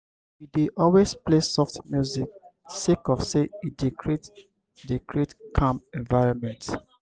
we dey always play soft music sake of sey e dey create dey create calm environment.